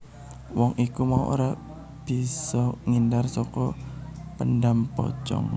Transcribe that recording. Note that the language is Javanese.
Wong iku mau ora bisa ngindar saka dhendham pocong